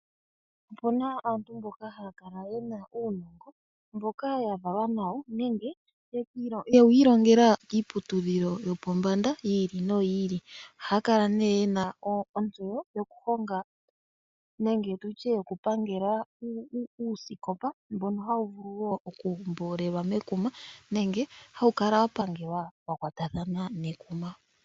Opuna aantu mboka haya kala ye na uunongo mboka ya valwa nawo, nenge ye wu ilongela kiiputudhilo yopombanda yi ili noyi ili. Ohaya kala ye na ontseyo yokuhonga nenge yokupangela uusikopa mbono hawu vulu okumboolelwa mekuma nenge wa pangelwa wa kwatathana nekuma.